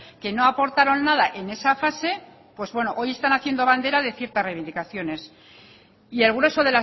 que no aportaron nada en esa fase pues bueno hoy están haciendo bandera de ciertas reivindicaciones y el grueso